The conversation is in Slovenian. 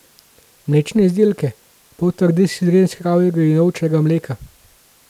Mlečne izdelke, poltrde sire iz kravjega in ovčjega mleka.